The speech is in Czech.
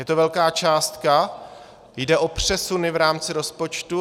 Je to velká částka, jde o přesuny v rámci rozpočtu.